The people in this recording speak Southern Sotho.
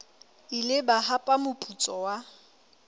ile ba hapa moputso wa